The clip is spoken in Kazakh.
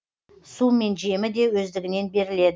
су мен жемі де өздігінен беріледі